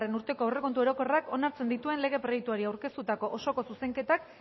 urteko aurrekontu orokorrak onartzen dituen lege proiektuari aurkeztutako osoko zuzenketak